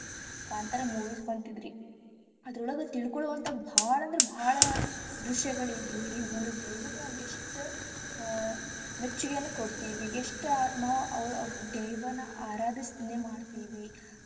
Kantara movies ಬಂದಿತ್ತರೀ ಅದ್ರೊಳಗ ತಿಳ್ಕೊಳುವಂತಾದ ಬಾಳ ಅಂದ್ರ ಬಾಳ ದೃಶ್ಯಗಳ ಇದ್ವರಿ ಒಂದ ದೈವಗ ನಾವ ಎಷ್ಟ ಅಹ್ ಮೆಚ್ಚುಗೆಯನ್ನ ಕೊಡ್ತಿವಿ ಎಷ್ಟ ನಾವ ದೈವನ ಆರಾಧನೇ.